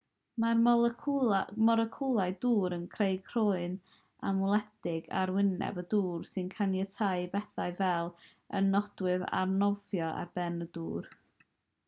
mae'r moleciwlau dŵr yn creu croen anweledig ar arwyneb y dŵr sy'n caniatáu i bethau fel y nodwydd arnofio ar ben y dŵr